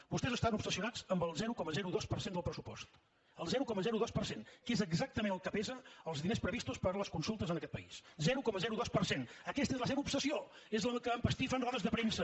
vostès estan obsessionats amb el zero coma dos per cent del pressupost el zero coma dos per cent que és exactament el que pesen els diners previstos per a les consultes en aquest país zero coma dos per cent aquesta és la seva obsessió és la que empastifa en rodes de premsa